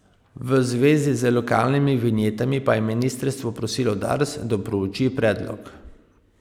V zvezi z lokalnimi vinjetami pa je ministrstvo prosilo Dars, da prouči predlog.